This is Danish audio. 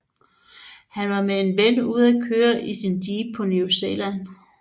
Han var med en ven ude at køre i sin jeep på New Zealand